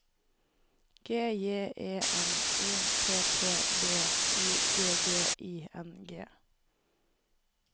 G J E N O P P B Y G G I N G